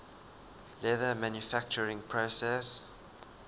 leather manufacturing process